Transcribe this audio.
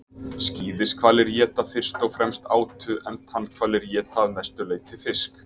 skíðishvalir éta fyrst og fremst átu en tannhvalir éta að mestu leyti fisk